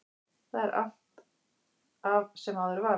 Þar er allt af sem áður var.